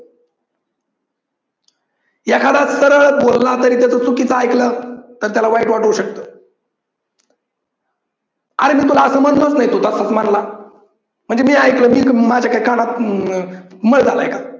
एखादा सरळ बोलला तरी त्या तरी त्याच चुकीचा ऐकल तर त्याला वाईट वाटू शकत. अरे पण तुला समजलाच नाही म्हणजे मी ऐकलं मी जर माझ्या काय कानात मळ झालाय का?